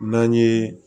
N'an ye